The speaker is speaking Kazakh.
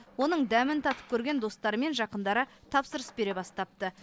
оның дәмін татып көрген достары мен жақындары тапсырыс бере бастапты